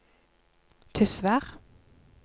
Tysvær